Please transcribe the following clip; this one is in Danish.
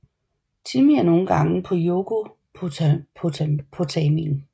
Timmy er nogle gange på Yogopotamien